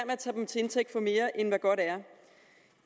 at tage dem til indtægt for mere end hvad godt er